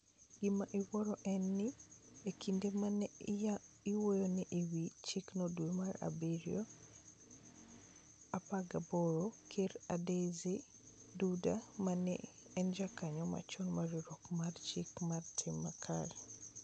Gima iwuoro en ni, e kinde ma ne iwuoyoe e wi chikno dwe mar abirio 18, Ker Andrzej Duda, ma ne en jakanyo machon mar Riwruok mar Chike gi Tim Makare